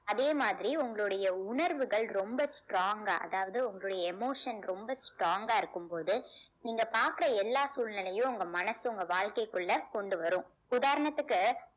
அதே மாதிரி உங்களுடைய உணர்வுகள் ரொம்ப strong ஆ அதாவது உங்களுடைய emotion ரொம்ப strong ஆ இருக்கும் போது நீங்க பாக்குற எல்லா சூழ்நிலையும் உங்க மனசு உங்க வாழ்க்கைக்குள்ள கொண்டு வரும் இப்ப உதாரணத்துக்கு